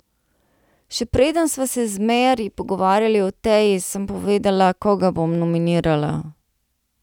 Še preden sva se z Meri pogovarjali o Teji, sem povedala, koga bom nominirala.